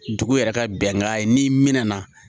Dugu yɛrɛ ka bɛnkan ye n'i mɛna